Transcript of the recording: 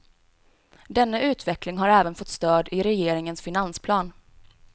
Denna utveckling har även fått stöd i regeringens finansplan.